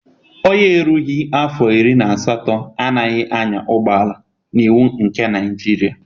Onye erughị afọ iri na asatọ anaghị anya ụgbọala n'iwu nke Naịjiria.